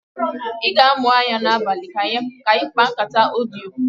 I ga-amụ anya n'abalị ka anyị kpaa nkata odiyo?